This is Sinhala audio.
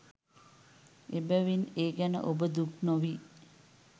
එබැවින්, ඒ ගැන ඔබ දුක් නොවී